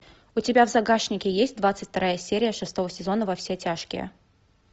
у тебя в загашнике есть двадцать вторая серия шестого сезона во все тяжкие